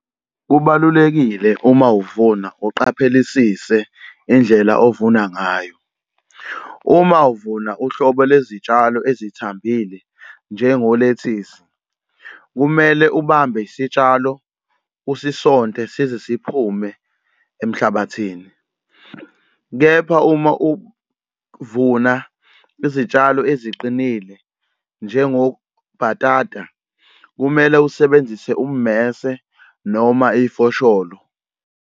Kubalulekile uma uvuna uqaphelesise indlela ovuna ngayo. Uma uvuna uhlobo lwezitshalo ezithambile njengo lethisi, kumele ubambe isitshalo usisonte size siphume emhlabathini. Kepha uma uvuna izitshalo eziqinile njengo bhatata kumele usebenzise ummese noma ifosholo.